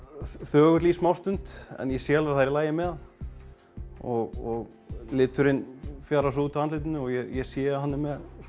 þögull í smá stund en ég sé alveg að það er í lagi með hann og liturinn fjarar svo út á andlitinu og ég sé að hann er